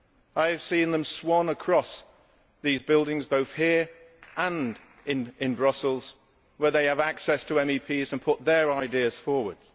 I have seen them swan across these buildings, both here and in Brussels, where they have access to MEPs and put their ideas forward.